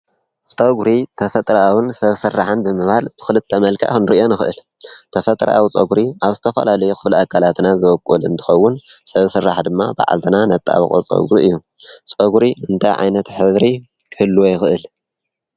ፀጕሪ ተፈጥራኣውን ሰብ ሠራሕን ብምባል ብኽልተ መልከእ ሕንሪ እዮ ንኽእል ተፈጥሪ ኣው ጾጕሪ ኣብ ስተፈልልይኽብል ኣካላትና ዘበቁወል እንትኸውን ሠብ ሥራሕ ድማ ብዓልትና ነተኣብቖ ጸጕሪ እዩ ጾጕሪ እንተ ዓይነት ኅብሪ ክል ይኽእል?